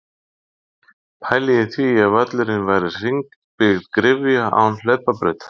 Pælið í því ef völlurinn væri hringbyggð gryfja án hlaupabrautar?